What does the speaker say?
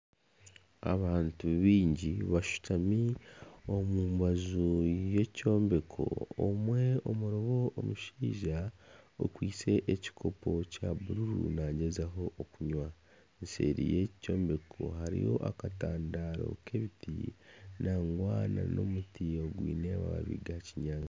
Abantu bingi bashutami aha rubaju rw'ekyombeko omwe omurimo omushaija okwitse ekikopo kya bururu nagyezaho kunywa. Eseeri yeki kyombeko hariyo akatandaro k'ebiti nangwa n'omuti ogwine amababi ga kinyaatsi.